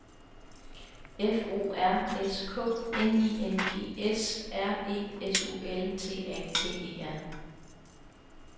F O R S K N I N G S R E S U L T A T E R